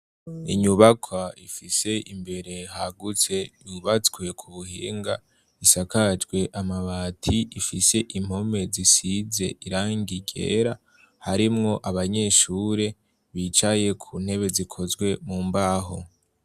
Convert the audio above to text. Inyubakwa ifise imbere hagutse yubatswe ku buhinga, isakajwe amabati, ifise impome zisize irangi ryera, harimwo abanyeshuri bicaye ku ntebe zikozwe mu mbaho.